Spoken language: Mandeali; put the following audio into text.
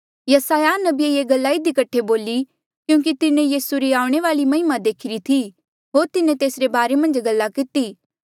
यसायाह नबिये ये गल्ला इधी कठे बोली क्यूंकि तिन्हें यीसू री आऊणें वाली महिमा देखीरी थी होर तिन्हें तेसरे बारे मन्झ गल्ला किती